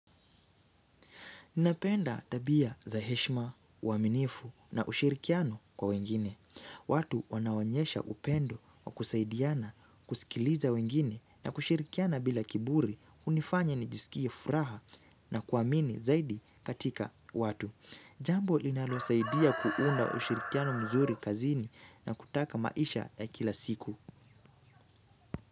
Ninapenda tabia za heshma, uaminifu na ushirikiano kwa wengine. Watu wanaonyesha upendo wa kusaidiana kusikiliza wengine na kushirikiana bila kiburi hunifanya nijisikie furaha na kuamini zaidi katika watu. Jambo linalosaidia kuunda ushirikiano mzuri kazini na kutaka maisha ya kila siku.